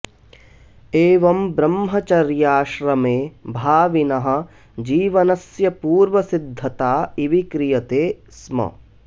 एवं ब्रह्मचर्याश्रमे भाविनः जीवनस्य पूर्वसिद्धता इव क्रियते स्म